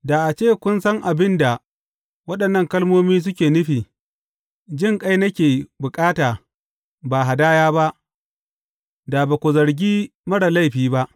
Da a ce kun san abin da waɗannan kalmomi suke nufi, Jinƙai nake bukata, ba hadaya ba,’ da ba ku zargi marar laifi ba.